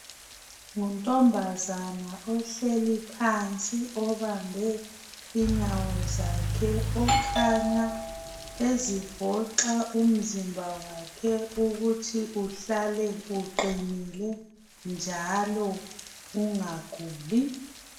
Nguntombazana ohleli phansi obambe inyawo zakhe okhanya ezivoxa umzimba wakhe ukuthi uhlale uqinile njalo ungaguli.